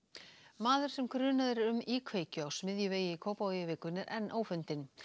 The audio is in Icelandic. maður sem grunaður er um íkveikju á Smiðjuvegi í Kópavogi í vikunni er enn ófundinn